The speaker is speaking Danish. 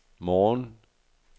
morgen